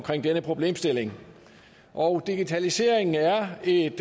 denne problemstilling og digitaliseringen er et